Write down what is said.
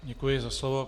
Děkuji za slovo.